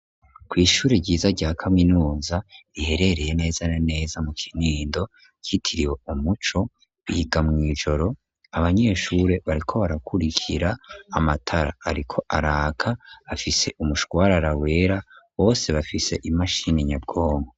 Kw'ishuri ryiza rya kaminuza riherereye neza neza mu kinindo ryitiriwe umuco, biga mw'ijoro abanyeshure bariko barakurikira amatara ariko araka afise umushwarara wera bose bafise imashini nyabwonko.